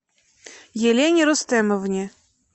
елене рустемовне